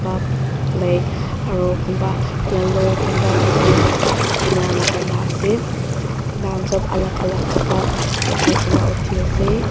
ba black aro kunba yellow kunba pink ena lakaina ase tahan sop alak alak kapra lakai kaena uthiase.